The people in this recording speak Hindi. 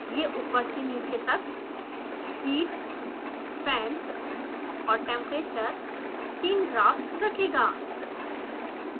यह ऊपर से नीचे तक heat fan और temperature तीन ग्राफ्स रखेगा